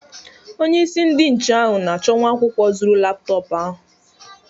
Onye isi ndi nche ahụ na-achọ nwa akwụkwọ zuru laptọpụ ahụ.